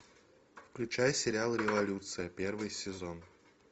включай сериал революция первый сезон